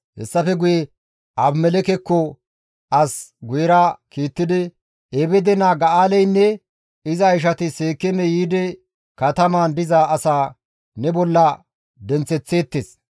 Hessafe guye Abimelekkeko as guyera kiittidi, «Ebeede naa Ga7aaleynne iza ishati Seekeeme yiidi katamaan diza asaa ne bolla denththeththeettes.